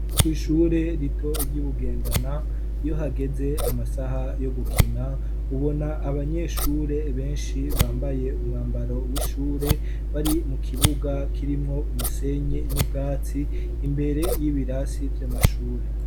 Kw'ishure rito ry'ubugendana iyo hageze amasaha yo gukina ubona abanyeshure benshi bambaye umwambaro w'ishure bari mu kibuga kirimwo umusenyi n'ubwatsi imbere y'ibirasi vy'amashure.